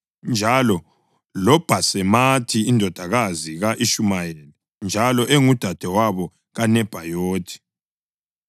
njalo loBhasemathi indodakazi ka-Ishumayeli njalo engudadewabo kaNebhayothi.